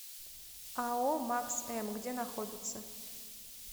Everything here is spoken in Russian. ао макс м где находится